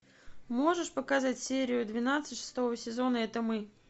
можешь показать серию двенадцать шестого сезона это мы